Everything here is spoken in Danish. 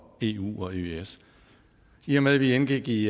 eu og eøs i og med at vi indgik i